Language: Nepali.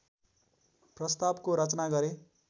प्रस्तावको रचना गरे